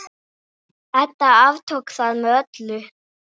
Edda aftók það með öllu.